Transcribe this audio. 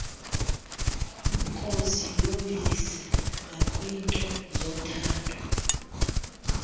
koziyobisi nakwinto zothando